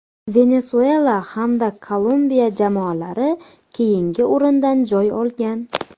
Venesuela hamda Kolumbiya jamoalari keyingi o‘rindan joy olgan.